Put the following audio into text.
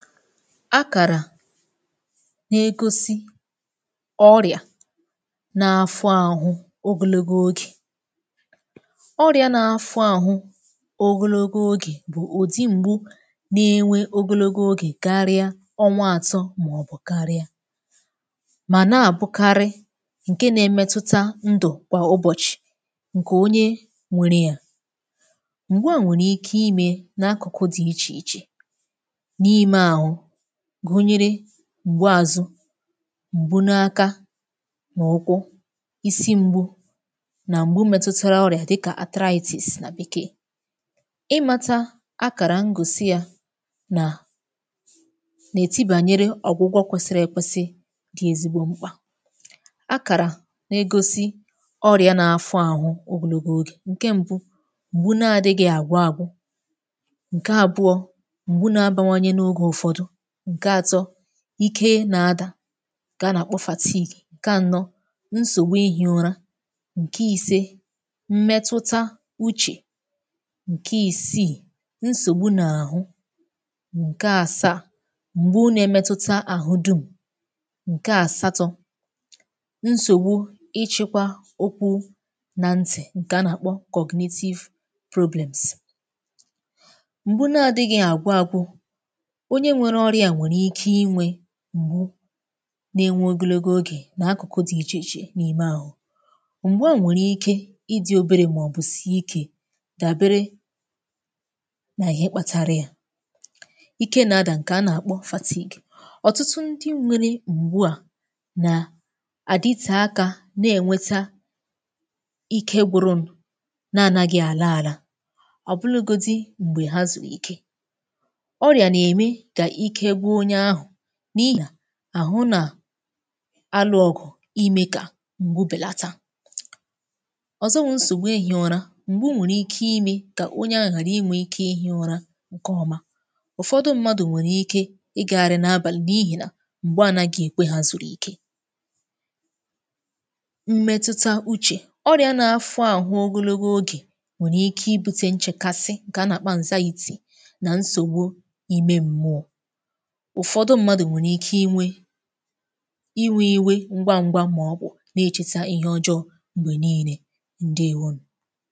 Akàrà na-egosi ọrịà na-afụ àhụ ogologo ogè. Ọrịà na-afụ àhụ ogologo ogè bụ̀ ùdi m̀gbu na-enwe ogologo ogè karịa ọnwa àtọ màọbụ̀ karịa, mà na-àbụkarị ǹke na-emetuta ndụ̀ kwà ụbọ̀chị̀ ǹkè onye nwèrè ya. Mgbu a nwèrè ike ime na-akụ̀kụ̀ dị̀ ichè ichè n'ime ahụ gunyere: mgbụ àzụ, m̀gbu n’aka nà ụkwụ, isi mgbu, nà m̀gbu metụtụrụ ọrịa dịkà arthritis nà bekee. Ịmata akàrà mgòsi ya nà nà-eti bànyere ọ̀gwụgwọ kwesiri èkwesi dị ezigbo mkpà. Akàrà nà-egosi ọrịa n’afụ àhụ ogologo ogè; ǹke mbu, m̀gbu na-adịghị àgwụ àgwụ, ǹke abụọ, mgbụ na-abawanye n'oge ụfọdụ, nke atọ ike ị na-adà ǹkè a nà-àkpọ fatigue, ǹkè ànọ, nsògbu ihi ụra, ǹkè ise mmetụta uchè, ǹkè isii nsògbu n’àhụ, ǹkè àsaà m̀gbụ na-emetụta àhụ dum, ǹkè àsatọ nsògbu ichekwa okwụ nà ntì ǹkè a nà-àkpọ cognitive problems. Mgbụ nà-adịghị̇ àgwụagwụ; onye nwere ọrị̇a nwere ike inwe m̀gbụ na-enwe ogologo ogè n’akụ̀kụ̀ dị ichèchè n’ime àhụ. Mgbụ à nwèrè ike ịdị obere maọ̀bụ̀sị ike gàbere nà ihe kpatara ya. Ike na-adà ǹkè a nà-àkpọ fatigue; ọ̀tụtụ ndị nwere m̀gbu à nà àdịte aka na-ènweta ike gwurunu na-anagị àla àlà, ọ bụlụgodi m̀gbè hazùruike. Ọrịa na-eme ka ike gwu onye áhụ n’ihì àhụ nà alụ ọgụ̀ ime kà m̀gbu bèlata. Ọzọ wụ nsògbu ihì ụra, m̀gbu nwèrè ike ime kà onye ahụ̀ ghara inwe ike ihe ụra ǹke ọma. Ụfọdụ mmadụ̀ nwèrè ike ị gagharị n’abàlị̀ n’ihì nà m̀gbe ànàghi ekwe ha zùrù ike. Mmẹtụta uchè, ọrịà n’afọ ahụ ogologo ogè nwèrè ike ibute nchekasị ǹkè a nà-àkpọ anxiety nà nsògbu ime m̀mụọ. Ụfọdụ mmadụ̀ nwèrè ike inwe iwe iwe ngwa ngwa mà ọ bụ̀ na-echete ihe ọjọọ m̀gbè niine ǹdeèwonù.